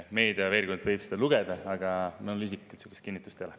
Meediast võis küll selle kohta lugeda, aga minul isiklikult sellist kinnitust ei ole.